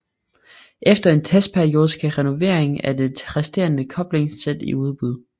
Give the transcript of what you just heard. Efter en testperiode skal renoveringen af de resterende koblingssæt i udbud